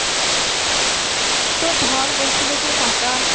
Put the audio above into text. তোর ধর বলছিলো যে টাকা